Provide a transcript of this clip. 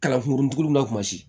Kalafirin na kuma si